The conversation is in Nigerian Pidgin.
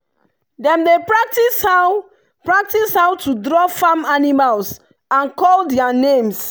dem dey practise how practise how to draw farm animals and call their names.